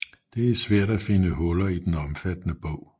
Det er svært at finde huller i den omfattende bog